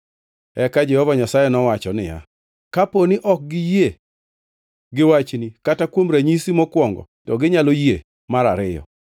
Eka Jehova Nyasaye nowacho niya, “Kapo ni ok giyie gi wachni kata kuom ranyisi mokwongo, to ginyalo yie mar ariyo.